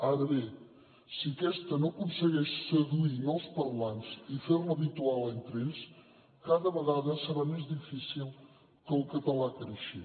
ara bé si aquesta no aconsegueix seduir nous parlants i fer la habitual entre ells cada vegada serà més difícil que el català creixi